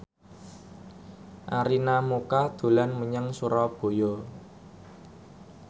Arina Mocca dolan menyang Surabaya